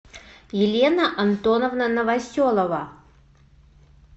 елена антоновна новоселова